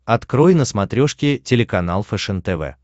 открой на смотрешке телеканал фэшен тв